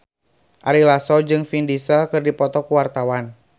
Ari Lasso jeung Vin Diesel keur dipoto ku wartawan